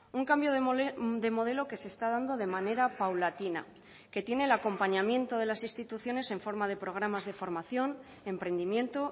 un cambio de modelo que se está dando de manera paulatina que tiene el acompañamiento de las instituciones en forma de programas de formación emprendimiento